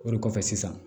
O de kɔfɛ sisan